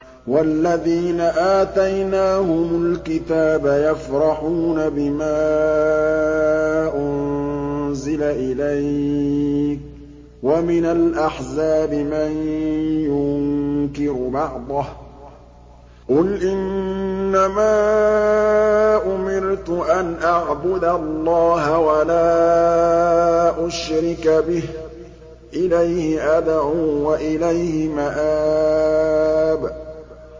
وَالَّذِينَ آتَيْنَاهُمُ الْكِتَابَ يَفْرَحُونَ بِمَا أُنزِلَ إِلَيْكَ ۖ وَمِنَ الْأَحْزَابِ مَن يُنكِرُ بَعْضَهُ ۚ قُلْ إِنَّمَا أُمِرْتُ أَنْ أَعْبُدَ اللَّهَ وَلَا أُشْرِكَ بِهِ ۚ إِلَيْهِ أَدْعُو وَإِلَيْهِ مَآبِ